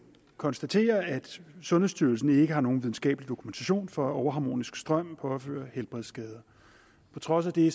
konstatere at sundhedsstyrelsen ikke har nogen videnskabelig dokumentation for at overharmonisk strøm påfører helbredsskader på trods af det